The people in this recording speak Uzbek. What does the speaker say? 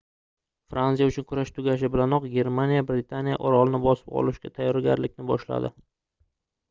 fransiya uchun kurash tugashi bilanoq germaniya britaniya orolini bosib olishga tayyorgarlikni boshladi